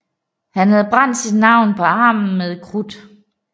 Han havde brændt sit navn på armen med krudt